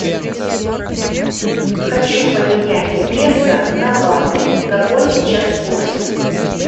хочу поменять песо на баты какой сейчас курс